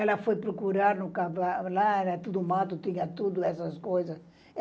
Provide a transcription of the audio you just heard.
Ela foi procurar no cavalo, lá era tudo mato tinha tudo, essas coisas.